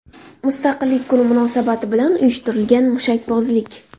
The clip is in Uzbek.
Mustaqillik kuni munosabati bilan uyushtirilgan mushakbozlik.